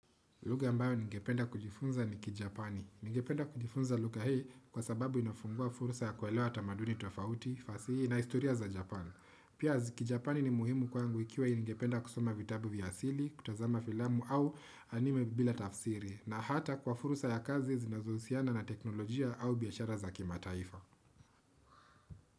Lugha ambayo ningependa kujifunza ni kijapani. Ningependa kujifunza lugha hii kwa sababu inafungua fursa ya kuelewa tamaduni tofauti, fasihi na historia za Japan. Pia kijapani ni muhimu kwangu ikiwa ningependa kusoma vitabu vya asili, kutazama filamu au anime bila tafsiri na hata kwa fursa ya kazi zinazohusiana na teknolojia au biashara za kimataifa.